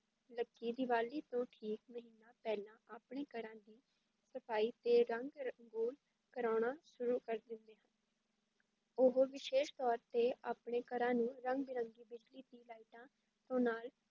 ਲੋਕੀ ਦੀਵਾਲੀ ਤੋਂ ਠੀਕ ਮਹੀਨਾ ਪਹਿਲਾਂ ਆਪਣੇ ਘਰਾਂ ਦੀ ਸਫ਼ਾਈ ਤੇ ਰੰਗ ਰੋਗਨ ਕਰਾਉਣਾ ਸ਼ੁਰੂ ਕਰ ਦਿੰਦੇ ਹਨ ਉਹ ਵਿਸ਼ੇਸ਼ ਤੌਰ ਤੇ ਆਪਣੇ ਘਰਾਂ ਨੂੰ ਰੰਗ ਬਿਰੰਗੀ ਬਿਜਲੀ ਦੀ ਲਾਈਟਾਂ ਤੋਂ ਨਾਲ